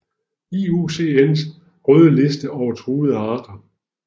IUCN røde liste over truede arter